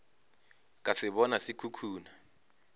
ka se bona se khukhuna